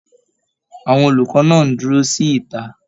Àwọn olùkọ náà n dúró sí ìta.